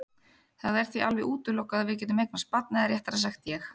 Það er því alveg útilokað að við getum eignast barn eða réttara sagt ég.